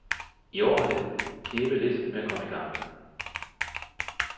I år har det knebet lidt med at komme i gang.